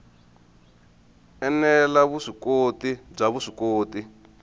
ene la vuswikoti bya vuswikoti